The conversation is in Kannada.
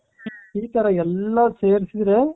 ಈ ತರ ಎಲ್ಲಾ ಸೇರಿಸಿದರೆ